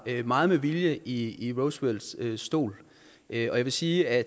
meget med vilje i roosevelts stol og jeg vil sige at